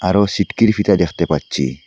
আরও সিটকিরি ফিতা দেখতে পাচ্ছি।